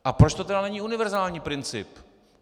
A proč to tedy není univerzální princip?